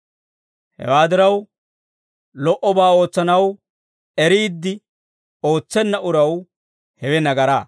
Hewaa diraw, lo"obaa ootsanaw eriidde ootsenna uraw hewe nagaraa.